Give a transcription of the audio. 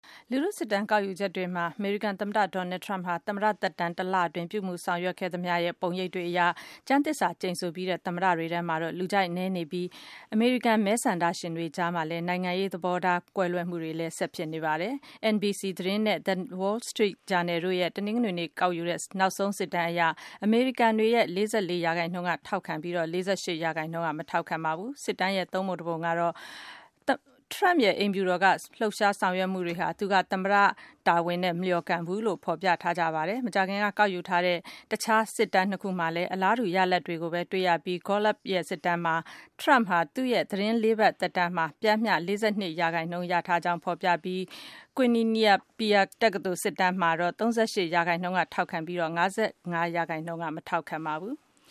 လူထုစစ်တမ်းကောက်ယူချက်တွေမှာ အမေရိကန်သမ္မတ Donald Trump ဟာ သမ္မတသက်တမ်း တလအတွင်း ဆောင်ရွက်ပြုမူခဲ့သမျှရဲ့ ပုံရိပ်တွေအရ ကျမ်းသစ္စာကျိန်ဆိုပြီးတဲ့သမ္မတတွေထဲမှာ လူကြိုက် အနည်းဆုံးဖြစ်နေပြီး အမေရိကန်မဲဆန္ဒရှင်တွေကြား နိုင်ငံရေးဆိုင်ရာ သဘောထား ကွဲလွဲမှုတွေလည်း ဆက်ဖြစ်နေတာပါ။ NBC သတင်းနဲ့ The Wall Street ဂျာနယ်တို့ရဲ့ တနင်္ဂနွေနေ့က ကောက်ယူထားတဲ့ နောက်ဆုံးစစ်တမ်းအရ အမေရိကန်တွေရဲ့ ၄၄ % ထောက်ခံပြီး ၄၈ % က မထောက်ခံပါဘူး။ ဒီစစ်တမ်းရဲ့ သုံးပုံတပုံကတော့ ထရမ့်ရဲ့ အိမ်ဖြူတော်က လှုပ်ရှားဆောင်ရွက်မှုတွေဟာ သူက သမ္မတတာဝန်နဲ့ မလျော်ကန်ဘူးလို့ ဖော်ပြကြပါတယ်။ မကြာခင်က ကောက်ယူထားတဲ့ တခြား စစ်တမ်းနှစ်ခုမှာလည်း အလားတူ ရလဒ်တွေကိုပဲ တွေ့ရပြီး Gallup ရဲ့စစ်တမ်းမှာ ထရမ့်ဟာ သူ့ရဲ့ သီတင်းလေးပတ် သက်တမ်းမှာ ပျှမ်းမျှ ၄၂ % ရကြောင်း ဖော်ပြထားပြီး Quinnipiac တက္ကသိုလ် စစ်တမ်းမှာတော့ ၃၈ % က ထောက်ခံပြီး ၅၅ % က မထောက်ခံပါဘူး။